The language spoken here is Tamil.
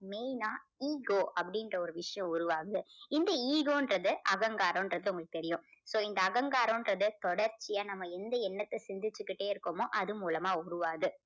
main ஆ ego அப்படின்ற ஒரு விஷயம் உருவாகுது. இந்த ego ன்றது அகங்காரங்கறது உங்களுக்கு தெரியும். so இங்க அகங்காரங்கறது தொடர்ச்சியா நம்ம எந்த எண்ணத்தை சிந்திச்சிக்கிட்டே இருக்கிறோமோ அது மூலமா உருவாகுது.